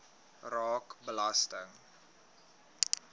raak belasting